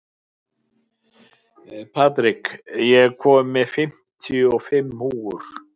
Patrik, ég kom með fimmtíu og fimm húfur!